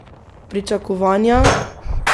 Pričakovanja?